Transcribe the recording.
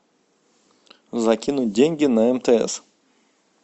закинуть деньги на мтс